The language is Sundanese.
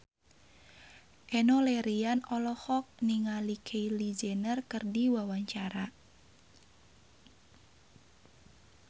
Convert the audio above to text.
Enno Lerian olohok ningali Kylie Jenner keur diwawancara